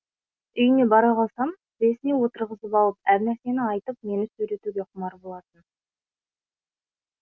үйіне бара қалсам тізесіне отырғызып алып әр нәрсені айтып мені сөйлетуге құмар болатын